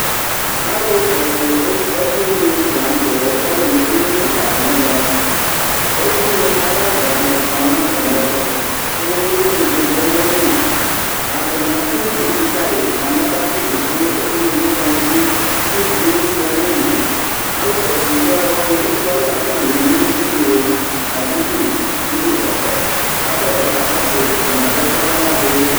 alò kɔsu abuini lantɛ eku alɛ n'edini keka di n'ɛmɛ abuini ayi ada ni kɔ n'atami ɛto kò ubuini di vlɛ n'ayili atani ato ivi ka yi mo anɛ k'ato ivi ka abuini no kɔndzi k'ivie sua n'ili alò kɔsu ubui alòwani eku alɛ k'atani ewu iyo aduku iyo kɔtɔ k'atadza ka kɔsu yi atani adu ɛkò n'ala bi.